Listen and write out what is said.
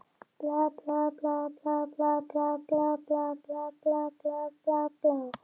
En nú um stundir er enginn til að ávíta slíkt framferði.